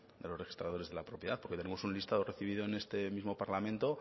de los registradores de la propiedad porque tenemos un listado recibido en este mismo parlamento